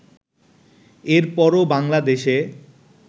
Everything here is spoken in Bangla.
এর পরও বাংলাদেশে